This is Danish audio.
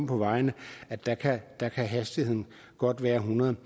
på vejen der kan hastigheden godt være hundrede